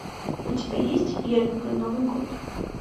у тебя есть я люблю новый год